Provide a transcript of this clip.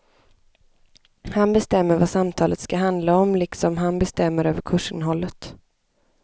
Han bestämmer vad samtalet ska handla om liksom han bestämmer över kursinnehållet.